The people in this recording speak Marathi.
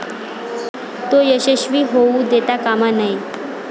तो यशस्वी होऊ देता कामा नये.